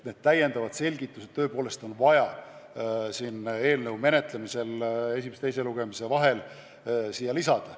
Need täiendavad selgitused võib eelnõu menetlemisel esimese ja teise lugemise vahel seletuskirja lisada.